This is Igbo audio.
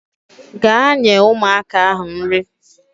Gaa nye ụmụaka ahụ nri